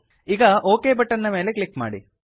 ಈಗ okay button ಮೇಲೆ click ಮಾಡಿ